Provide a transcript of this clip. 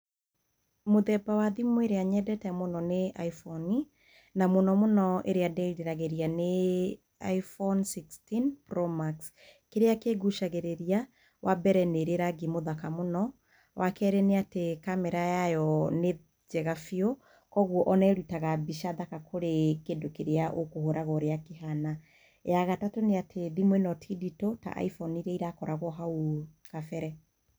Mũthemba wa thimũ ĩrĩa nyendete mũno nĩ iphone na mũno mũno ĩrĩa ndĩĩriragĩria nĩ iPhone sixteen Pro Max. Kĩrĩa kĩngucagĩrĩria, wa mbere, nĩ ĩrĩ rangi mũthaka mũno. Wa kerĩ nĩ atĩ camera yayo nĩ njega biũ, kwoguo o na ĩrutaga mbica thaka kũrĩ kĩndũ kĩrĩa ũkũhũraga ũrĩa kĩhana. Ya gatatũ nĩ atĩ, thimũ ĩno ti nditũ ta iPhone iria irakoragwo hau kabere.